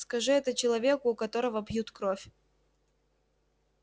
скажи это человеку у которого пьют кровь